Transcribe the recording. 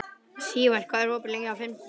Sívar, hvað er opið lengi á fimmtudaginn?